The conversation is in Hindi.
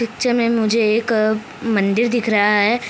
पिक्चर में मुझे एक मंदिर दिख रहा है।